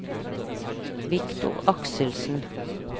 Victor Akselsen